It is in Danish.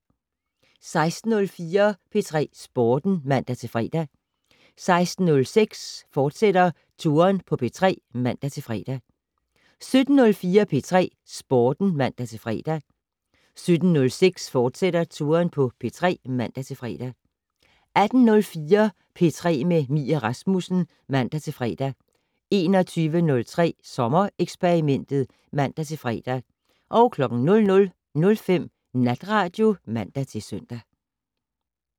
16:04: P3 Sporten (man-fre) 16:06: Touren på P3, fortsat (man-fre) 17:04: P3 Sporten (man-fre) 17:06: Touren på P3, fortsat (man-fre) 18:04: P3 med Mie Rasmussen (man-fre) 21:03: Sommereksperimentet (man-fre) 00:05: Natradio (man-søn)